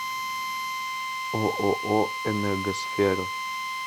ооо энергосфера